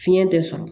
Fiɲɛ tɛ sɔn